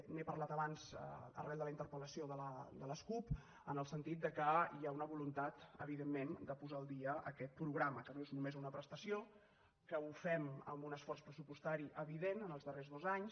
n’he parlat abans arran de la interpelel sentit que hi ha una voluntat evidentment de posar al dia aquest programa que no és només una prestació que ho fem amb un esforç pressupostari evident els darrers dons anys